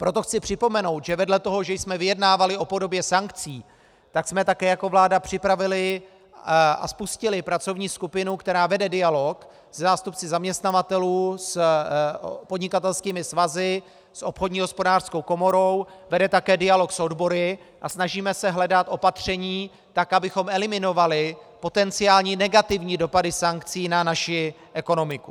Proto chci připomenout, že vedle toho, že jsme vyjednávali o podobě sankcí, tak jsme také jako vláda připravili a spustili pracovní skupinu, která vede dialog se zástupci zaměstnavatelů, s podnikatelskými svazy, s obchodní hospodářskou komorou, vede také dialog s odbory a snažíme se hledat opatření tak, abychom eliminovali potenciální negativní dopady sankcí na naši ekonomiku.